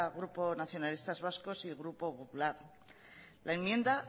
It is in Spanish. grupo nacionalistas vascos y grupo popular la enmienda